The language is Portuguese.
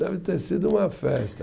Deve ter sido uma festa.